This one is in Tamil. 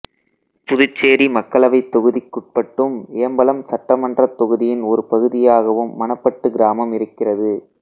புதுச்சேரி மக்களவைத் தொகுதிக்குட்பட்டும் ஏம்பலம் சட்டமன்றத் தொகுதியின் ஒரு பகுதியாகவும் மணப்பட்டு கிராமம் இருக்கிறது